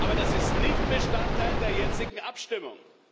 Aber das ist nicht Bestandteil der jetzigen Abstimmung.